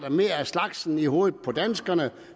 mere af slagsen i hovedet på danskerne